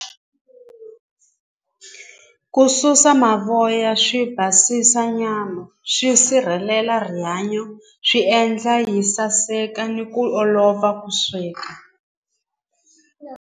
Ku susa mavoya swi basisa nyama swi sirhelela rihanyo swi endla yi saseka ni ku olova ku sweka.